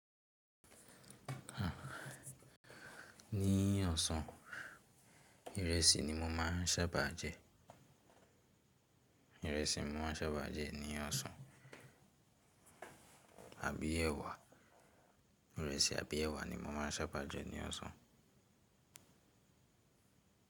Ní ọ̀sán, ìrẹsì ni mo máa ń sábà jẹ. Ìrẹsì mo máa ń sábà jẹ ní ọ̀sán. Àbí èwà. Ìrẹsì àbí èwà ni mo máa ń sábà jẹ ní ọ̀sán.